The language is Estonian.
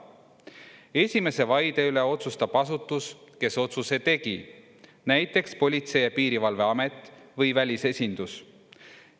Esimese vaide üle otsustab asutus, kes otsuse tegi, näiteks Politsei‑ ja Piirivalveamet või välisesindus.